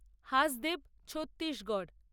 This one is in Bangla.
হাসদেব ছত্তিশগড়